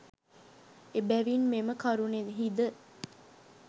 එබැවින් මෙම කරුණෙහිද